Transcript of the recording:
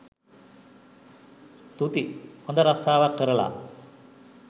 තුති! හොඳ රස්සාවක් කරලා